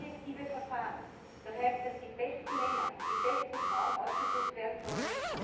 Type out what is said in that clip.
Objektive Verfahren, das heißt, dass die besten Männer und die besten Frauen ausgesucht werden sollen.